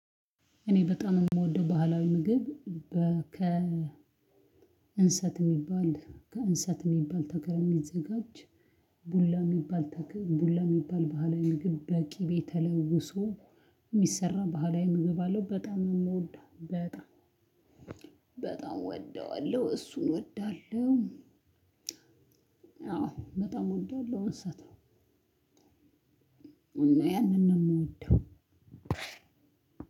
እኔ በጣም የምወደው ባህላዊ ምግብ ከ እንሰት የሚባል ከእንሰት የሚባል ተክል የሚዘጋጅ ቡላ የሚባል ቡላ የሚባል ባህላዊ ምግብ በቂቤ ተለውሶ የሚሰራ ባህላዊ ምግብ አለው በጣም ነው የምወደው በጣም በጣም እወደዋለሁ እሱን እወዳለሁ። አዎ በጣም እወዳለሁ እንሰትን። እና ያንን ነው የምወደው።